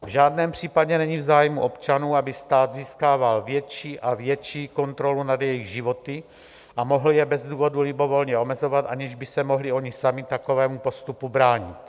V žádném případě není v zájmu občanů, aby stát získával větší a větší kontrolu nad jejich životy a mohl je bez důvodu libovolně omezovat, aniž by se mohli oni sami takovému postupu bránit.